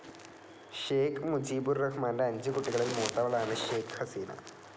Shake Mujibur റഹ്മാൻ്റെ അഞ്ചു കുട്ടികളിൽ മൂത്തവളാണ് ഷേക്ക്‌ ഹസീന.